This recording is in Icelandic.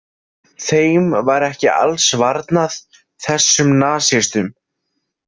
Þeim var ekki alls varnað, þessum nasistum.